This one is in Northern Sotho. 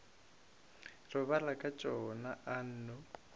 robala ka tšona a nno